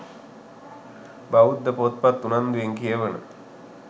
බෞද්ධ පොත්පත් උනන්දුවෙන් කියවන